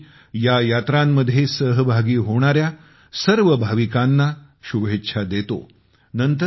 मी या यात्रांमध्ये सामील होणाऱ्या सर्व भाविकांना शुभेच्छा देतो